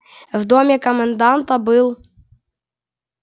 в доме коменданта был